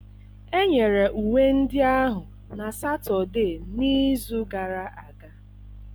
Enyere uwe ndị ahụ na Satọde n'izu gara aga.